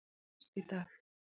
Hún lést í dag.